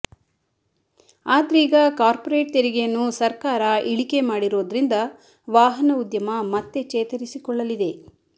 ಆದ್ರೀಗ corporate ತೆರಿಗೆಯನ್ನು ಸರ್ಕಾರ ಇಳಿಕೆ ಮಾಡಿರೋದ್ರಿಂದ ವಾಹನ ಉದ್ಯಮ ಮತ್ತೆ ಚೇತರಿಸಿಕೊಳ್ಳಲಿದೆ